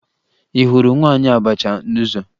Ị hụrụ nwaanyị abacha n'ụzọ?